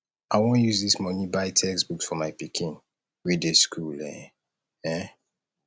i wan use dis money buy textbooks for my pikin wey dey school um um